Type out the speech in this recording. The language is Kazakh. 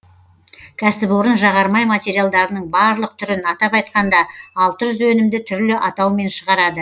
кәсіпорын жағармай материалдарының барлық түрін атап айтқанда алты жүз өнімді түрлі атаумен шығарады